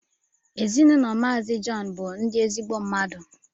Ezinụlọ mazi John bu ndi ezigbo mmadụ